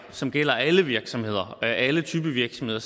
som gælder alle virksomheder og alle typer af virksomheder